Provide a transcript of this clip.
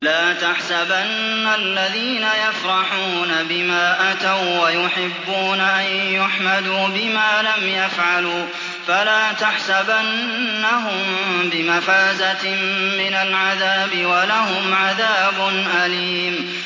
لَا تَحْسَبَنَّ الَّذِينَ يَفْرَحُونَ بِمَا أَتَوا وَّيُحِبُّونَ أَن يُحْمَدُوا بِمَا لَمْ يَفْعَلُوا فَلَا تَحْسَبَنَّهُم بِمَفَازَةٍ مِّنَ الْعَذَابِ ۖ وَلَهُمْ عَذَابٌ أَلِيمٌ